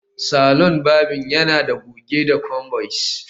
Saloni varbing yana da goge da combis